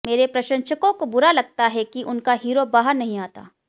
मेरे प्रशंसकों को बुरा लगता है कि उनका हीरो बाहर नहीं आता